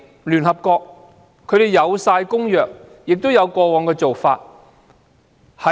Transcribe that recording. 聯合國有相關公約，亦有過往的做法。